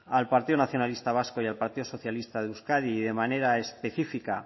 al partido nacionalista vasco y al partido socialista de euskadi de manera específica